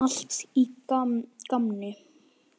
Allt í gamni.